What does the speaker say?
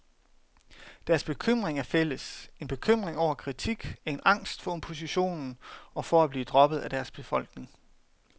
Deres bekymring er fælles, en bekymring over kritik, en angst for opposition og for at blive droppet af deres befolkning.